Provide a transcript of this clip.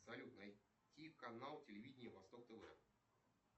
салют найти канал телевидения восток тв